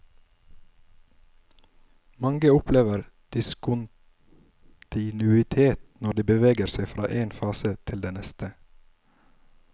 Mange opplever diskontinuitet når de beveger seg fra én fase til den neste.